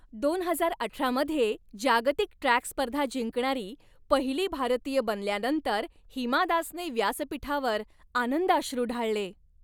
दोन हजार अठरा मध्ये जागतिक ट्रॅक स्पर्धा जिंकणारी पहिली भारतीय बनल्यानंतर हिमा दासने व्यासपीठावर आनंदाश्रू ढाळले.